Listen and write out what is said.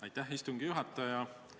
Aitäh, istungi juhataja!